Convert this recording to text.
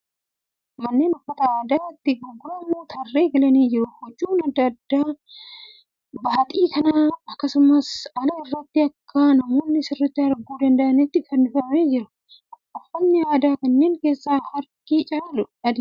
Manneen uffata aadaa itti gurguramu tarree galanii jiru. Huccuun aadaa adda addaa baaxii manaa akkasumas ala irratti bakka namoonni sirriitti arguu danda'utti fannifamanii jiru. Uffatni aadaa kanneen keessa harki caalu adiidha.